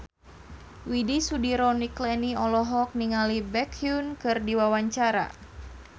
Widy Soediro Nichlany olohok ningali Baekhyun keur diwawancara